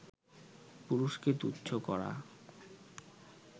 পুরুষকে তুচ্ছ করা